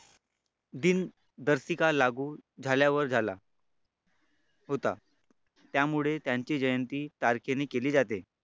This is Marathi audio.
दिनदर्शिका लागू झाल्यावर झाला होता त्यामुळे त्यांची जयंती तारखेने केली जाते.